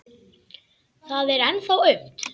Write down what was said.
Það er ennþá aumt.